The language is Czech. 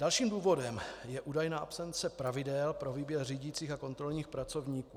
Dalším důvodem je údajná absence pravidel pro výběr řídících a kontrolních pracovníků.